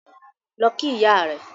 Lọ kí ìyá rẹ̀